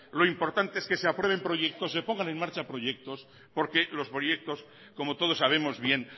lo importante es que se aprueben proyectos se pongan en marcha proyectos porque los proyectos como todos sabemos bien